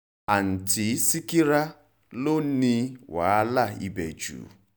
um àtúntí ṣíkírà ló ní wàhálà ibẹ̀ jù